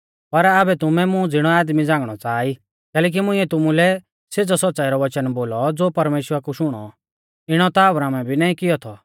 पर आबै तुमै मुं ज़िणौ आदमी झ़ांगणौ च़ाहा ई कैलैकि मुइंऐ तुमुलै सेज़ौ सौच़्च़ाई रौ वचन बोलौ ज़ो परमेश्‍वरा कु शुणौ इणौ ता अब्राहमै भी नाईं किऔ थौ